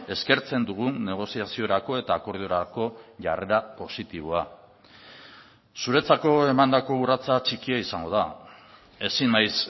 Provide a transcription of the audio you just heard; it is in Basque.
eskertzen dugun negoziaziorako eta akordiorako jarrera positiboa zuretzako emandako urratsa txikia izango da ezin naiz